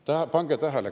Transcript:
Pange tähele!